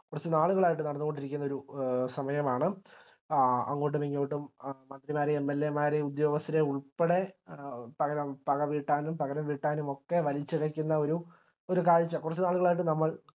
കുറച്ചു നാളുകളായിട്ട് നടന്നുകൊണ്ടിരിക്കുന്ന ഒരു സമയമാണ് ആ അങ്ങോട്ടും ഇങ്ങോട്ടും മന്ത്രിമാരും MLA മാരെയും ഉദ്യോഗസ്ഥരെയും ഉൾപ്പടെ പക വീട്ടാനും പകരം വീട്ടാനും ഒക്കെ വലിച്ചിഴക്കുന്ന ഒരു ഒരു കാഴ്ച കുറച്ചുനാളുകളായിട്ട് നമ്മൾ